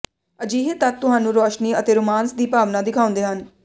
ਅਜਿਹੇ ਤੱਤ ਤੁਹਾਨੂੰ ਰੋਸ਼ਨੀ ਅਤੇ ਰੋਮਾਂਸ ਦੀ ਭਾਵਨਾ ਦਿਖਾਉਂਦੇ ਹਨ